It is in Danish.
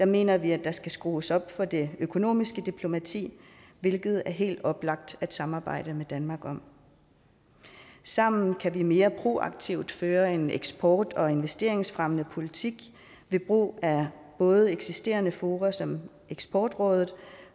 mener vi at der skal skrues op for det økonomiske diplomati hvilket det er helt oplagt at samarbejde med danmark om sammen kan vi mere proaktivt føre en eksport og investeringsfremmende politik ved brug af både eksisterende fora som eksportrådet